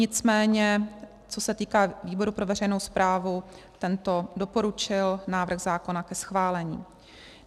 Nicméně co se týče výboru pro veřejnou správu, tento doporučil návrh zákona ke schválení.